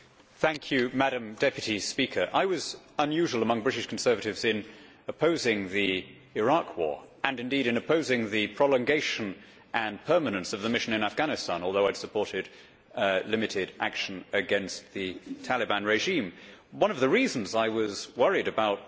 Madam President, I was unusual among British Conservatives in opposing the Iraq war and indeed in opposing the prolongation and permanence of the mission in Afghanistan, although I had supported limited action against the Taliban regime. One of the reasons I was worried about the